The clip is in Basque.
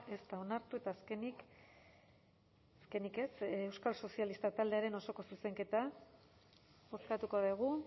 ez da onartu eta azkenik azkenik ez euskal sozialistak taldearen osoko zuzenketa bozkatuko dugu